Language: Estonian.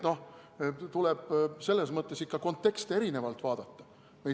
Nii et tuleb selles mõttes ikka konteksti erinevalt vaadata.